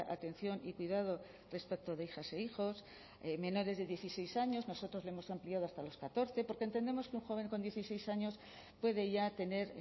atención y cuidado respecto de hijas e hijos menores de dieciséis años nosotros lo hemos ampliado hasta los catorce porque entendemos que un joven con dieciséis años puede ya tener